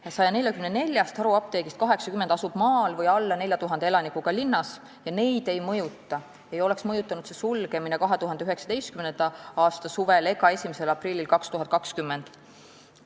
Ja 144-st haruapteegist 80 asub maal või alla 4000 elanikuga linnas, seega neid ei oleks mõjutanud sulgemine 2019. aasta suvel ega 1. aprillil 2020.